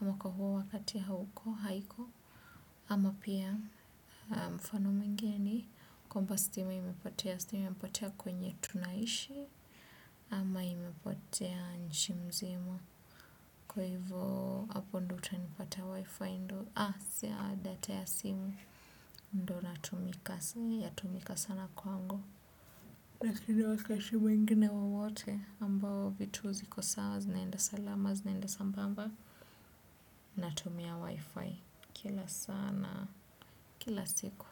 ama kwa huo wakati hauko, haiko ama pia mfano mwingine ni kwamba stima imepotea, stima imepotea kwenye tunaishi ama imepotea nchi mzima. Kwa hivyo, hapo ndo utanipata wifi ndo. Ah, si ya data ya simu. Ndo natumika, yatumika sana kwangu. Nakini wakashimu ingine wowote ambao vitu ziko sawa, zinaenda salama, zinaenda sambamba. Natumia wifi. Kila sana, kila siku.